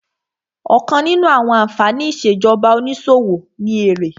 Ọ̀kan nínú àwọn ànfàní ìṣèjọba onísòwò ni èrè